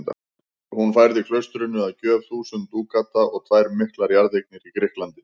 Hún færði klaustrinu að gjöf þúsund dúkata og tvær miklar jarðeignir í Grikklandi.